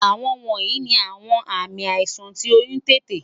Awọn wọnyi ni awọn aami aisan ti oyun tete